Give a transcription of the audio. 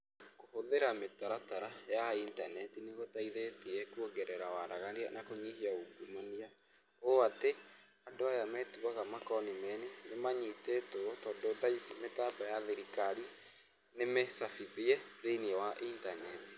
Kũhũthĩra mĩtaratara ya intaneti ni gũteithĩtie kuongerera waragania na kũnyihia ungumania, ũũ atĩ, andũ aya metuaga makonimeni nĩmanyitĩtwo tondũ tha ici mĩtambo ya thirikari ni mĩcabithie thĩiniĩ wa internet.